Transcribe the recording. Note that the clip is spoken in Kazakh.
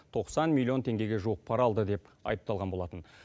тоқсан миллион теңгеге жуық пара алды деп айыпталған болатын